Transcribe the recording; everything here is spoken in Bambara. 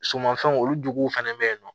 Sumanfɛnw olu jogow fɛnɛ be yen nɔ